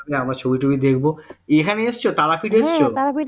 আমরা ছবি টবি দেখব এখানে এসেছ তারাপীঠ এসছো